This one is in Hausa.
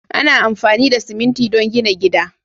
Ana amfani da siminti don gina gida.